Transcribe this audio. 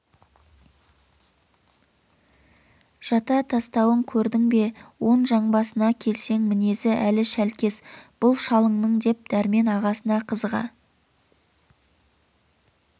жата тастауын көрдің бе оң жамбасына келсең мінезі әлі шәлкес бұл шалыңның деп дәрмен ағасына қызыға